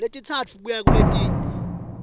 letintsatfu kuya kuletine